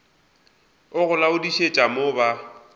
a go laodišetša mo ba